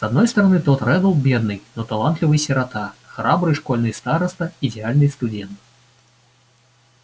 с одной стороны том реддл бедный но талантливый сирота храбрый школьный староста идеальный студент